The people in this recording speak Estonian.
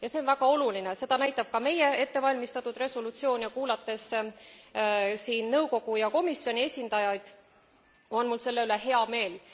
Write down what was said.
Ja see on väga oluline seda näitab ka meie ettevalmistatud resolutsioon ja kuulates siin nõukogu ja komisjoni esindajaid, on mul selle üle hea meel.